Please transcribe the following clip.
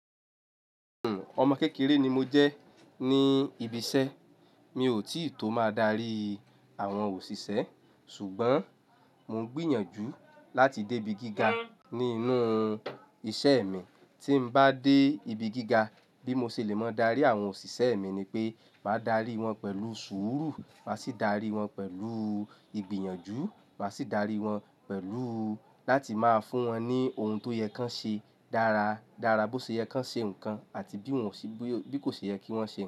Ọmọ kékeré ni mo jẹ́ ní ibi iṣẹ́, mi ò tì tó máa darí àwọn òṣìṣẹ́ ṣùgbọ́n mo ń gbìyànjú láti dé ibi gíga nínú iṣẹ́ mi. Tí n bá dé ibi gíga bí mo ṣe lè mọ darí àwọn òṣìṣẹ́ mi ni pé, máa darí wọn pẹ̀lú sùúrù, màá sì darí wọn pẹ̀lú ìgbìyànjú, màá sì darí wọn pẹ̀lú láti máa fún wọn ní ohun tó yẹ kí wọ́n ṣe dára, dára bó ṣe yẹ kí wọ́n ṣe nǹkan àti bí kò ṣe yẹ kí wọ́n ṣe.